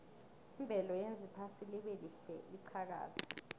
imvelo yenza iphasi libelihle liqhakaze